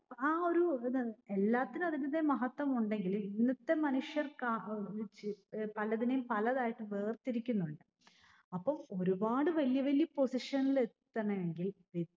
ആഹ് ആ ഒരു എന്താണ് എല്ലാത്തിനും അതിന്റെതായ മഹത്വം ഉണ്ടെങ്കിൽ ഇന്നത്തെ മനുഷ്യർ പലതിനേം പലതായി വേർതിരിക്കുന്നുണ്ട്. അപ്പം ഒരുപാട് വല്യവല്യ position നിൽ എത്തണമെങ്കിൽ വി